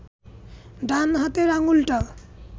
ডান হাতের আঙুলটা